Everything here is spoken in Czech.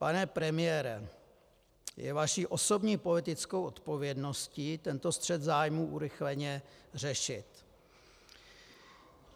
Pane premiére, je vaší osobní politickou odpovědností tento střet zájmů urychleně řešit.